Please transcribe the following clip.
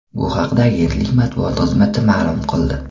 Bu haqda agentlik matbuot xizmati ma’lum qildi .